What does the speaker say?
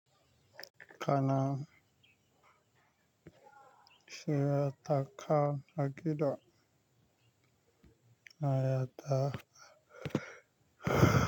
Kana sai a taka hakila a yata.